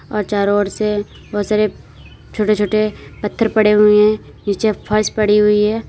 और चारों ओर से बहुत सारे छोटे छोटे पत्थर पड़े हुए हैं नीचे फर्श पड़ी हुई है।